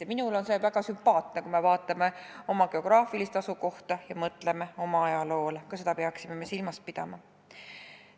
Ja minule on see väga sümpaatne, kui me mõtleme oma geograafilisele asukohale ja oma ajaloole – ka seda peaksime me silmas pidama.